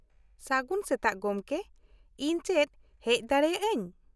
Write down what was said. -ᱥᱟᱹᱜᱩᱱ ᱥᱮᱛᱟᱜ ᱜᱚᱢᱠᱮ, ᱤᱧ ᱪᱮᱫ ᱦᱮᱡ ᱫᱟᱲᱮᱭᱟᱜ ᱟᱹᱧ ?